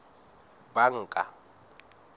banka